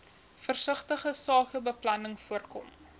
versigtige sakebeplanning voorkom